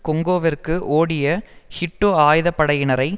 கொங்கோவிற்கு ஓடிய ஹூட்டு ஆயுதப்படையினரை